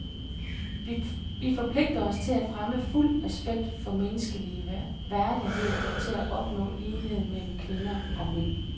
Vi forpligter os til at fremme fuld respekt for menneskelig værdighed og til at opnå lighed mellem kvinder og mænd.